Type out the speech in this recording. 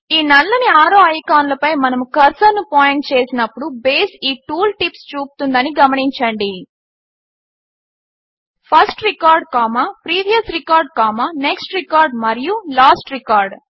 ఈ నల్లని ఆరో ఐకాన్లపై మనము కర్సర్ను పాయింట్ చేసినప్పుడు బేస్ ఈ టూల్ టిప్స్ చూపుతుందని గమనించండి first record previous record next record మరియు లాస్ట్ రికార్డ్